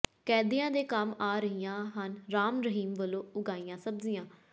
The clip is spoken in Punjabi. ਕੈਦੀਆਂ ਦੇ ਕੰਮ ਆ ਰਹੀਆਂ ਹਨ ਰਾਮ ਰਹੀਮ ਵਲੋਂ ਉਗਾਈਆਂ ਸਬਜ਼ੀਆਂ